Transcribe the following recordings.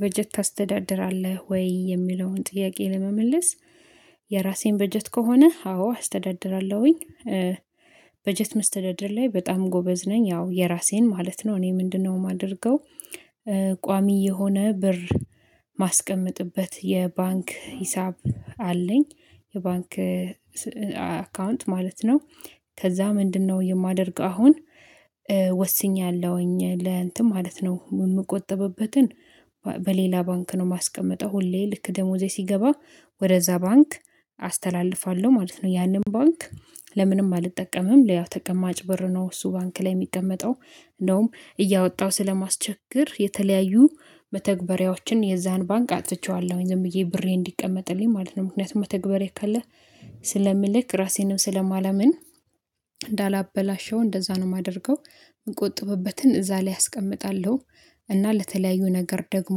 በጀት ታስተዳድራለህ ወይ? የሚለውን ጥያቄ ለመመለስ የራሴን በጀት ከሆነ አዎ አስተዳድራለሁኝ በጀት መስተዳደር ላይ በጣም ጎበዝ ነኝ ያው የራሴን ማለት ነው እኔ ምንድነው የማደርገው ቋሚ የሆነ ብር ማስቀመጥበት የባንክ ሂሳብ አለኝ የባንክ አካውንት ማለት ነው፤ ከዛ ምንድነው የማደርግ አሁን ወስኛለሁኝ ለእንትን ማለት ነው የምቆጥብበትን፤ በሌላ ባንክ ነው የማስቀምጠው ሁሌ ልክ ደሞዜ ሲገባ ወደዛ ባንክ አስተላልፋለሁ ማለት ነው ያንን ባንክ ለምንም አልጠቀምም ለያው ተቀማጭ ብር ነው እሱ ባንክ ላይ የሚቀመጠው እንደውም እያወጣሁ ስለማስቸገር የተለያዩ መተግበሪያዎችን የዛን ባንክ አጥቼዋለሁኝ ዝም ብዬ ብሬ እንዲቀመጥልኝ ማለት ነው ምክንያቱም መተግበሪያ ካለ ስለምልክ ራሴንም ስለማላምን እንዳላበላሸው እንደዛ ነው የማደርገው፤ የምንቆጥበበትን እዛ ላይ አስቀምጣለሁ፤ እና ለተለያዩ ነገር ደግሞ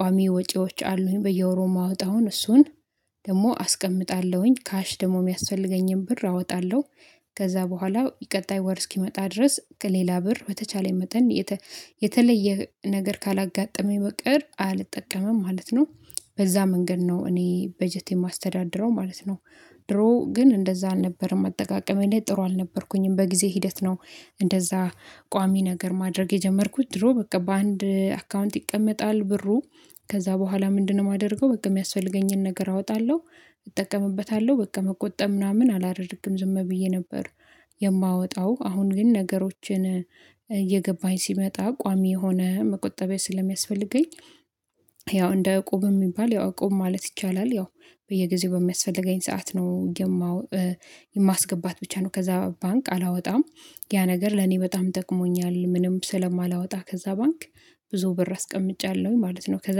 ቋሚ ወጪዎች አሉኝ በየወሩ የማወጣውን እሱን ደግሞ አስቀምጣለሁኝ ካሽ ደግሞ የሚያስፈልገኝን ብር አወጣለሁ፤ ከዛ በኋላ ቀጣይ ወር እስኪመጣ ድረስ ከሌላ ብር በተቻለኝ መጠን የተለየ ነገር ካላጋጠመኝ በቀር አልጠቀምም ማለት ነው በዛ መንገድ ነው እኔ በጀት የማስተዳድረው ማለት ነው፤ ድሮ ግን እንደዛ አልነበረም አጠቃቀሜ ላይ ጥሩ አልነበርኩኝም በጊዜ ሂደት ነው እንደዛ ቋሚ ነገር ማድረግ የጀመርኩት ድሮ በቃ በአንድ አካውንት ይቀመጣል ብሩ ከዛ በኋላ ምንድነው የማደርገው በቃ የሚያስፈልገኝን ነገር አወጣለሁ እጠቀምበታለሁ በቃ መቆጠብ ምናምን አላደርግም ዝም ብዬ ነበር የማወጣው፤ አሁን ግን ነገሮችን እየገባኝ ሲመጣ ቋሚ የሆነ መቆጠቢያ ስለሚያስፈልገኝ ያው እንደ እቁብ የሚባል ያው እቁብ ማለት ይቻላል ያው በየጊዜው በሚያስፈልገኝ ሰዓት ነው፤ የማስገባት ብቻ ነው ከዛ ባንክ አላወጣም ያ ነገር ለኔ በጣም ጠቅሞኛል ምንም ስለማላወጣ ከዛ ባንክ፤ ብዙ ብር አስቀምጫለሁኝ ማለት ነው ከዛ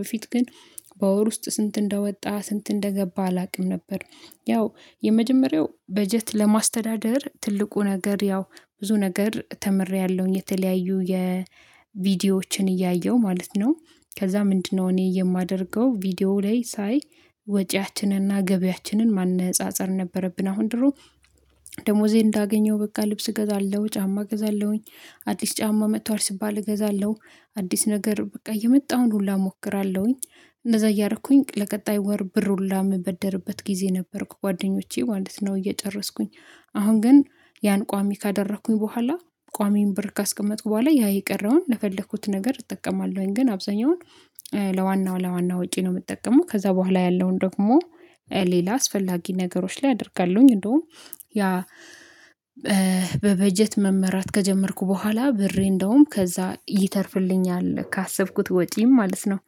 በፊት ግን በወር ውስጥ ስንት እንደወጣ ስንት እንደገባ አላውቅም ነበር ያው የመጀመሪያው በጀት ለማስተዳደር ትልቁ ነገር ያው ብዙ ነገር ተምሬያለሁኝ፤ የተለያዩ የቪዲዮዎችን እያየሁ ማለት ነው ከዛ ምንድነው እኔ የማደርገው ቪዲዮ ላይ ሳይ ወጪያችንንና ገቢያችንን ማነፃፀር ነበረብን አሁን ድሮ ደሞዜ እንዳገኘው በቃ ልብስ እገዛለሁ፤ ጫማ እገዛለሁኝ፤ አዲስ ጫማ መጥቷል ሲባል እገዛለሁ አዲስ ነገር በቃ እየመጣሁኝ ሁላ እሞክራለሁኝ እንደዛ እያረኩኝ ለቀጣይ ወር ብር ሁላ የምበደርበት ጊዜ ነበርኩ ጓደኞቼ ማለት ነው እየጨረስኩኝ አሁን ግን ያን ቋሚ ካደረኩኝ በኋላ ቋሚን ብር ካስቀመጡ በኋላ ያ የቀረውን ለፈለኩት ነገር እጠቀማለሁኝ ግን አብዛኛውን ለዋናው ለዋናው ወጪ ነው የምጠቀመው ከዛ በኋላ ያለውን ደግሞ ሌላ አስፈላጊ ነገሮች ላይ አደርጋለሁኝ እንደውም ያ በበጀት መመራት ከጀመርኩ በኋላ ብሬ እንደውም ከዛ ይተርፍልኛል ካሰብኩት ወጪም ማለት ነው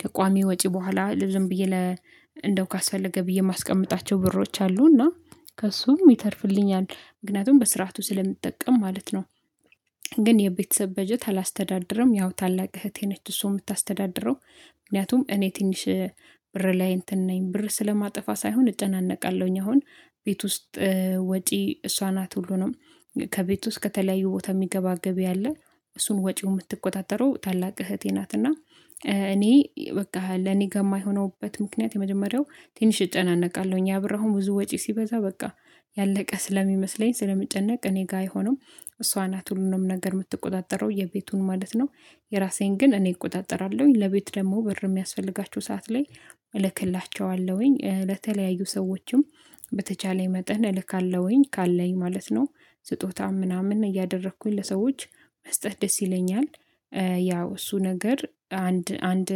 ከቋሚ ወጪ በኋላ ለዝም ብዬ ለ እንደው ካስፈለገ ብዬ የማስቀምጣቸው ብሮች አሉ እና ከእሱም ይተርፍልኛል ምክንያቱም በስርዓቱ ስለምትጠቀም ማለት ነው፤ ግን የቤተሰብ በጀት አላስተዳደርም ያው ታላቅ እህቴ ነች እሱን የምታስተዳድረው ምክንያቱም እኔ ትንሽ ብር ላይ እንትን ነኝ ብር ስለማጥፋት ሳይሆን እጨነቃለሁኝ አሁን ቤት ውስጥ ወጪ እሷ ናት ሁሉንም ከቤት ውስጥ ከተለያዩ ቦታ የሚገባ ገቢ አለ እሱን ወጪውን የምትቆጣጠረው ታላቅ እህቴ ናትና እኔ በቃ ለኔ ከማይሆንበት ምክንያት የመጀመሪያው ትንሽ እጨነቃለሁኝ ያብራሁም ብዙ ወጪ ሲበዛ በቃ ያለቀ ስለሚመስለኝ ስለሚጨነቅ እኔ ጋር አይሆንም እሷ ናት ሁሉንም ነገር የምትቆጣጠረው የቤቱን ማለት ነው የራሴን ግን እኔ እቆጣጠራለሁኝ ለቤት ደግሞ ብር በሚያስፈልጋቸው ሰዓት ላይ እልክላቸዋለሁኝ ለተለያዩ ሰዎችም በተቻለ መጠን እልካለሁኝ ካለኝ ማለት ነው ስጦታ ምናምን እያደረኩኝ ለሰዎች መስጠት ደስ ይለኛል፤ ያው እሱ ነገር አንድ አንድ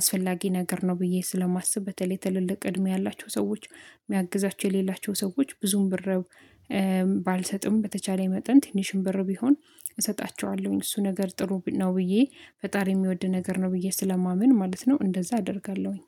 አስፈላጊ ነገር ነው ብዬ ስለማስብ በተለይ ትልልቅ እድሜ ያላቸው ሰዎች የሚያግዛቸው የሌላቸው ሰዎች ብዙም ብር ባልሰጥም በተቻለ መጠን ትንሽም ብር ቢሆን እሰጣቸዋለሁኝ እሱ ነገር ጥሩ ነው ብዬ ፈጣሪ የሚወድ ነገር ነው ብዬ ስለማመን ማለት ነው እንደዛ አደርጋለሁኝ